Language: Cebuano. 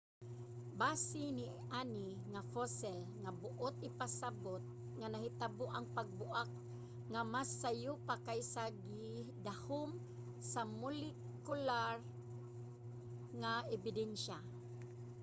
base niani nga fossil nga buot ipasabot nga nahitabo ang pagbuak nga mas sayo pa kaysa sa gidahom sa molekular nga ebidensya